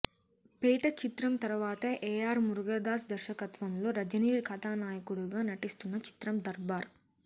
పేట చిత్రం తర్వాత ఏఆర్ మురుగదాస్ దర్శకత్వంలో రజనీ కథానాయకుడుగా నటిస్తున్న చిత్రం దర్బార్